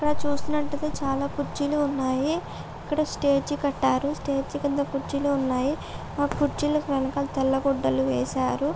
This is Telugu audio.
ఇక్కడ చూసినట్టైతే చాలా కుర్చీలు ఉన్నాయి. అక్కడ స్టేజి కట్టారు.స్టేజి కింద కుర్చీలు ఉన్నాయి. ఆ కుర్చీలకు ఇంకా తెల్ల గుడ్డలు వేశారు.